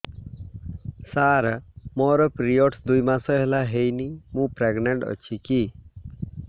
ସାର ମୋର ପିରୀଅଡ଼ସ ଦୁଇ ମାସ ହେଲା ହେଇନି ମୁ ପ୍ରେଗନାଂଟ ଅଛି କି